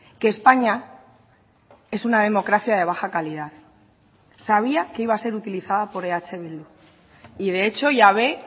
que españa es una democracia de baja calidad sabía que iba a ser utilizada por eh bildu y de hecho ya ve